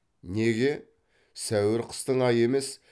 неге сәуір қыстың айы емес